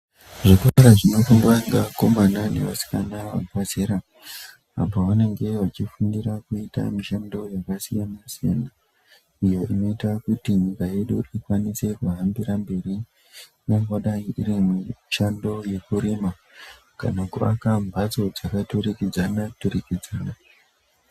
Zvikora zvinofundwa ngevakomana nevasikana vabva zera, apo vanenge vachifundira kuitamishando yakasiyana-siyana, iyo inoita kuti nyika yedu ikwanise kuhambira mberi ingangodai iri mishando yekurima, kana kuaka mhatso dzakaturikidzana-turikidzana.